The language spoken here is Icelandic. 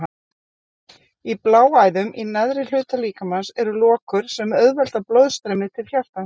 Í bláæðum í neðri hluta líkamans eru lokur sem auðvelda blóðstreymið til hjartans.